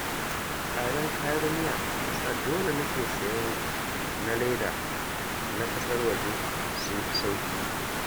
Tsadar kayan miya ta sa dole nake sayen na leda na ƙasar waje, sun fi sauƙi